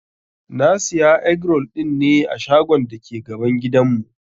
Na Siya egg-roll dinne a shagon dake gaban gidan mu.